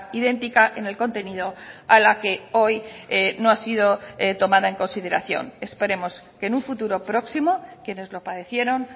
idéntica en el contenido a la que hoy no ha sido tomada en consideración esperemos que en un futuro próximo quienes lo padecieron